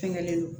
Fɛngɛlen don